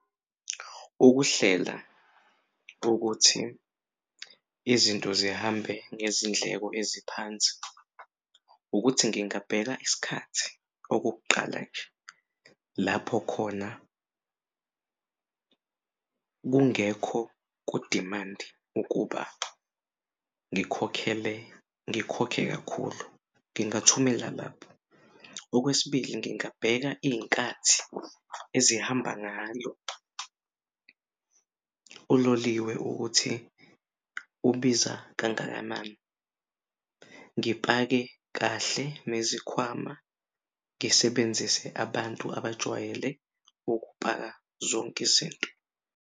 Ukuhlela ukuthi izinto zihambe ngezindleko eziphansi. Ukuthi ngingabheka isikhathi okokuqala nje lapho khona kungekho ku-demand ukuba ngikhokhe kakhulu ngingathumela labo. Okwesibili, ngingabheka iy'nkathi ezihamba ngayo uloliwe ukuthi ubiza kangakanani. Ngipake kahle nezikhwama ngisebenzise abantu abajwayele ukupaka zonk'izinto.